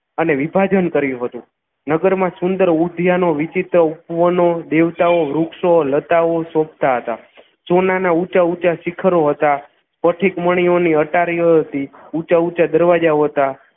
અને વિભાજન કર્યું હતું નગરમાં સુંદર ઉધ્યાનો વિચિત્ર ઉપવનો દેવતાઓ વૃક્ષો લતાઓ શોભતા હતા સોનાના ઊંચા ઊંચા શિખરો હતા પથીકમણીઓની અટારીઓ હતી ઊંચા ઊંચા દરવાજાઓ હતા